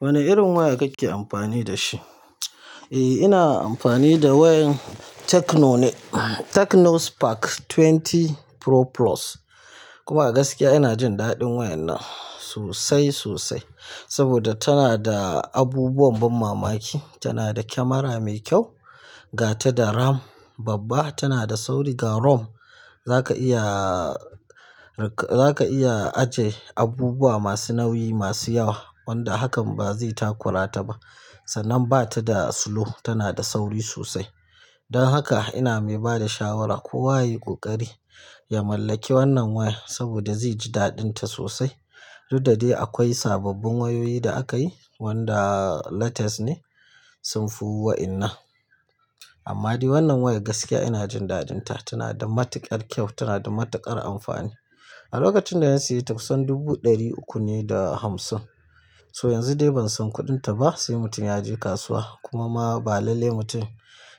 Wane irin waya kake amfani da shi? Eh, ina amfani da wayan Techno ne, Techno Spark twenty Pro Plus. Kuma gaskiya ina jin daɗin wayan nan sosai, sosai. Saboda tana da abubuwan ban mamaki. Tana da camera mai kyau, gata da RAM babba, tana da sauri ga ROM. Zaka iya, za ka iya aje abubuwa masu nauyi, masu yawa wanda hakan ba zai takurata ba. Sannan ba ta da slow, tana da sauri sosai. Don haka ina mai bada shawara kowa yayi ƙoƙari ya mallaki wannan waya saboda zai ji daɗinta sosai. Duk da de akwai sababbin wayoyi da aka yi wanda latest ne sun fi wa'innan. Amma dai wannan wayar gaskiya ina jin daɗinta, tana da matuƙar kyau, tana da matuƙar amfani. A lokacin dana sayeta kusan dubu ɗari uku ne da hamsin. So yanzu dai ban san kuɗinta ba. Sai mutum ya je kasuwa kuma ma ba lallai mutum